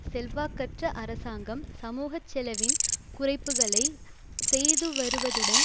செல்வாக்கற்ற அரசாங்கம் சமூக செலவின குறைப்புக்களை செய்துவருவதுடன்